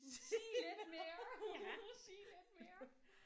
Sige lidt mere. Sige lidt mere